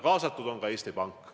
Kaasatud on ka Eesti Pank.